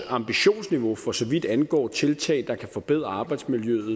ambitionsniveau for så vidt angår tiltag der kan forbedre arbejdsmiljøet